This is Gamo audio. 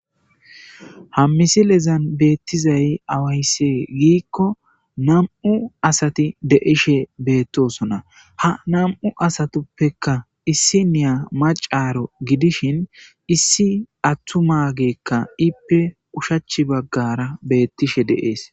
Ha misilezan beettizay awaysse giikko namU'u asati deishe beettosona ha nam'u asatuppeka issi niya macaaro gidishin issi attu maageekka ippe ushachi baggara beettishe deees.